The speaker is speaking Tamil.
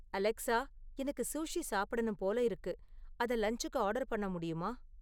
அலெக்சா எனக்கு சூஷி சாப்பிடணும் போல இருக்கு, அத லன்ச்சுக்கு ஆர்டர் பண்ண முடியுமா